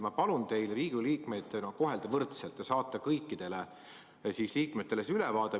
Ma palun teil Riigikogu liikmeid kohelda võrdselt ja saata meile kõikidele see ülevaade.